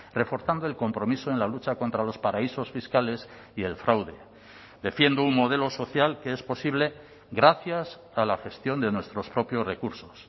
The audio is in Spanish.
reforzando el compromiso en la lucha contra los paraísos fiscales y el fraude defiendo un modelo social que es posible gracias a la gestión de nuestros propios recursos